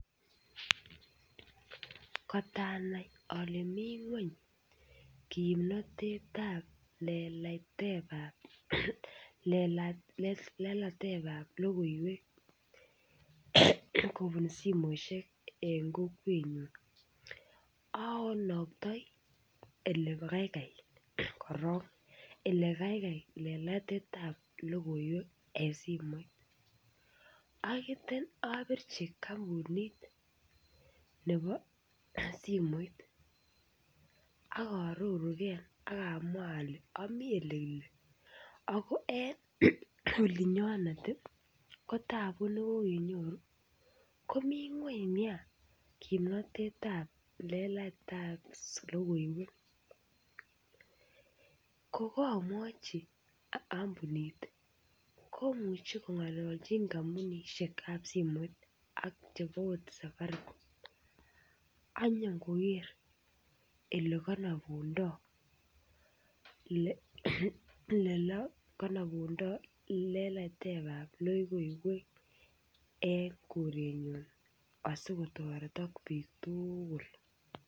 Kot anai ale mi ngwony kimnatetab leleitetab, lelatetab logoiywek kopun simoshek eng kokwennyu anaktai ole kaikai korok. Ole kaikai lelateitab logoiwek eng simoit. Taietya apirchi kampunit nepo simoit. Akarurunkee akamwa ale ami ole kile ako eng olinyonet ko taabu ne kokenyoru ko mii ngwony nea kimnatetab leleitab logoiywek. Ko kaamwachi kampunit komuchii kong'alalchi kampunisgek ap simoit ak chepo angot safaricom ak nyikogeer olekanapundai, olekanapundai leleitab logoiywek eng korennyu asikotaretak piik tugul.